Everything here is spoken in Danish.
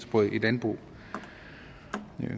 på et landbrug